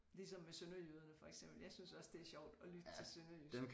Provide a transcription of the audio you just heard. Ligesom med sønderjyderne for eksempel jeg synes også det er sjovt at lytte til sønderjysk